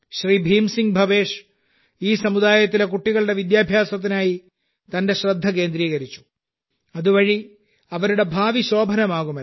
ഭീം സിംഗ് ഭവേഷ് ഈ സമുദായത്തിലെ കുട്ടികളുടെ വിദ്യാഭ്യാസത്തിനായി തന്റെ ശ്രദ്ധ കേന്ദ്രീകരിച്ചു അതുവഴി അവരുടെ ഭാവി ശോഭനമാകുമല്ലോ